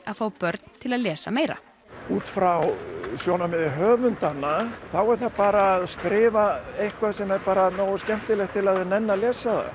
að fá börn til að lesa meira út frá sjónarhorni höfundanna er það bara að skrifa eitthvað nógu skemmtilegt til að þau nenni að lesa